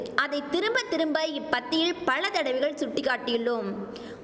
அதை திரும்ப திரும்ப இப்பத்தியில் பலதடவைகள் சுட்டிக்காட்டியுள்ளோம்